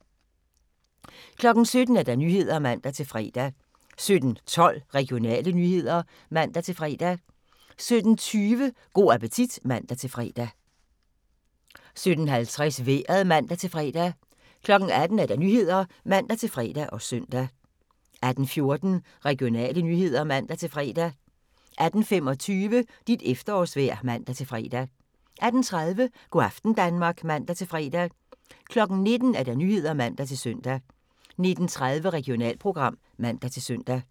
17:00: Nyhederne (man-fre) 17:12: Regionale nyheder (man-fre) 17:20: Go' appetit (man-fre) 17:50: Vejret (man-fre) 18:00: Nyhederne (man-fre og søn) 18:14: Regionale nyheder (man-fre) 18:25: Dit efterårsvejr (man-fre) 18:30: Go' aften Danmark (man-fre) 19:00: Nyhederne (man-søn) 19:30: Regionalprogram (man-søn)